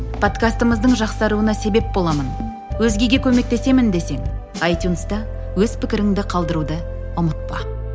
подкастымыздың жақсаруына себеп боламын өзгеге көмектесемін десең айтюнста өз пікіріңді қалдыруды ұмытпа